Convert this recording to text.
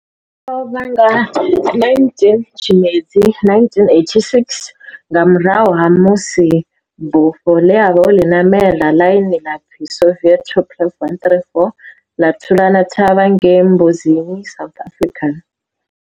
O lovha nga 19 Tshimedzi 1986 nga murahu ha musi bufho ḽe a vha o li namela, ḽine ḽa pfi Soviet Tupolev 134 ḽa thulana thavha ngei Mbuzini, South Africa.